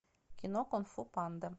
кино кунг фу панда